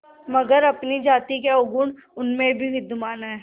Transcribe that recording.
मगर अपनी जाति के अवगुण उनमें भी विद्यमान हैं